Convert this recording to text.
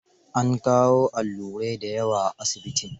An kawo allurai da yawa asibitin.